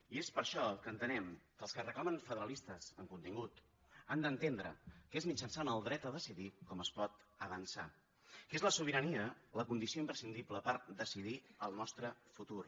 i és per això que entenem que els que reclamen federalistes amb contingut han d’entendre que és mitjançant el dret a decidir com es pot avançar que és la sobirania la condició imprescindible per decidir el nostre futur